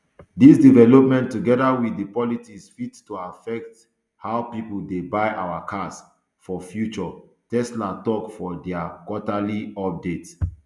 dis development togeda wit di politics fit to affect how pipo dey buy our cars for future tesla tok for dia quarterly update